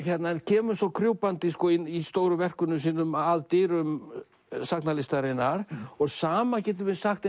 kemur svo krjúpandi í stóru verkunum sínum að dyrum sagnalistarinnar og sama getum við sagt